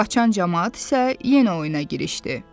Qaçan camaat isə yenə oyuna girişdi.